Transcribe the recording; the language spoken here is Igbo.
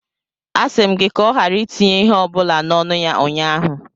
A sị m gị ka ọ ghara itinye ihe ọ bụla n'ọnụ ya ụnyahụ.